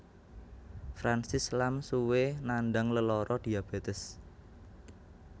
Francis Lam suwé nandhang lelara diabetes